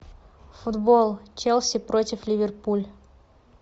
футбол челси против ливерпуль